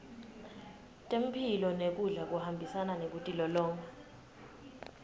temphilo nekudla kuhambisana nekutilolonga